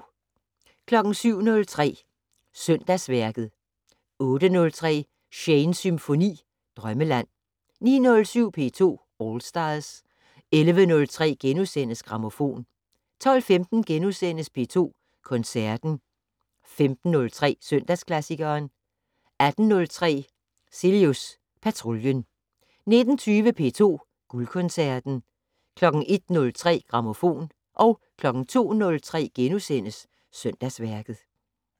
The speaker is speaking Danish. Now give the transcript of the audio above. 07:03: Søndagsværket 08:03: Shanes Symfoni - Drømmeland 09:07: P2 All Stars 11:03: Grammofon * 12:15: P2 Koncerten * 15:03: Søndagsklassikeren 18:03: Cilius Patruljen 19:20: P2 Guldkoncerten 01:03: Grammofon 02:03: Søndagsværket *